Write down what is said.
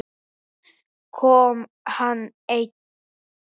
Kom hann einn?